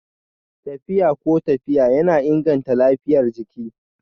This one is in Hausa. Tafiya ko tafiya yana inganta lafiyar jiki